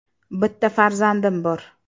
Bitta farzandim bor.